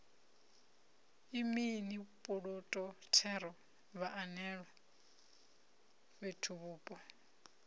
mini puloto thero vhaanewa fhethuvhupo